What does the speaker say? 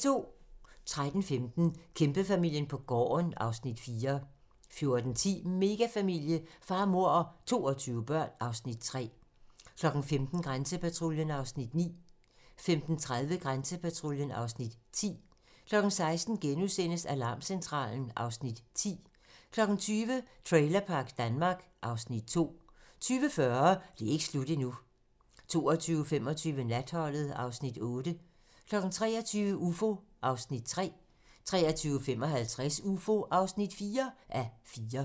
13:15: Kæmpefamilien på gården (Afs. 4) 14:10: Megafamilie - far, mor og 22 børn (Afs. 3) 15:00: Grænsepatruljen (Afs. 9) 15:30: Grænsepatruljen (Afs. 10) 16:00: Alarmcentralen (Afs. 10)* 20:00: Trailerpark Danmark (Afs. 2) 20:40: Det er ikke slut endnu 22:25: Natholdet (Afs. 8) 23:00: Ufo (3:4) 23:55: Ufo (4:4)